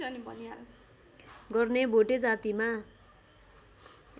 गर्ने भोटे जातिमा